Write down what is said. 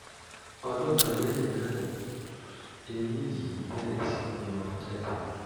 ọdún kan lẹ́yìn náà ni eyín yìí bẹ̀rẹ̀ sí yọ jáde